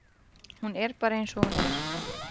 Hún er bara eins og hún er.